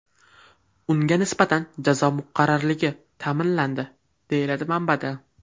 Unga nisbatan jazo muqarrarligi ta’minlandi, deyiladi manbada.